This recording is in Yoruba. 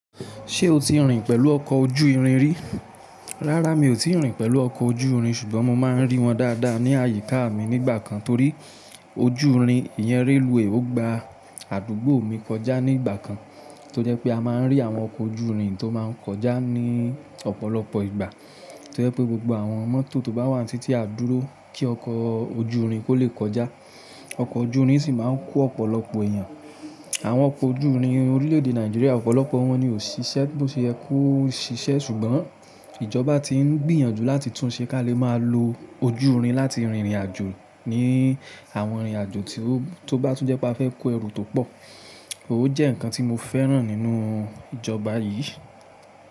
Ṣé o ti rìn pẹ̀lú ọkọ̀ ojú irin rí? Rárá mi ò ti rìn pẹ̀lú ọkọ̀ ojú irin, ṣùgbọ́n mo máa ń rí wọn dáadáa ní àyíká mi nígbà kan torí ojú irin ìyẹn railway, ó gba àdúgbò mi kọjá ní ìgbà kan. Tó jẹ́ pé a máa ń rí àwọn ọkọ̀ ojú irin tó máa ń kọjá ní ọ̀pọ̀lọpọ̀ ìgbà. Tó jẹ́ pé gbogbo àwọn mọ́tò tó bá wà ní títí á dúró kí ọkọ̀ ojú irin kó lè kọjá. Ọkọ̀ ojú irin sì máa ń kó ọ̀pọ̀lọpọ̀ èèyàn. Àwọn ọkọ̀ ojú irin orílẹ̀èdè Nàìjíríà ọ̀pọ̀lọpọ̀ wọn ni ò ṣiṣẹ́, bó ṣe yẹ kó ṣiṣẹ́. Ṣùgbọ́n ìjọba ti ń gbìyànjú láti túnṣe ká lè máa lo ojú irin láti rìnrìn àjò ní àwọn ìrìn àjò tí ó bá tún jẹ́ pé a fẹ́ kó ẹrù tó pọ̀. Ó jẹ́ nǹkan tí mo fẹ́ràn nínú ìjọba yìí.